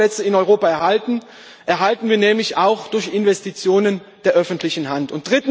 Arbeitsplätze in Europa erhalten wir nämlich auch durch Investitionen der öffentlichen Hand.